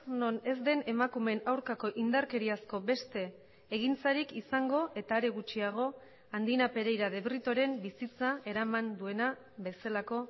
non ez den emakumeen aurkako indarkeriazko beste egintzarik izango eta are gutxiago andina pereira de britoren bizitza eraman duena bezalako